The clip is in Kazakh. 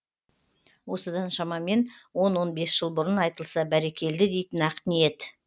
осыдан шамамен он он бес жыл бұрын айтылса бәрекелді дейтін ақ ниет